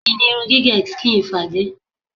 Kí ni irun gígẹ̀ skin fade?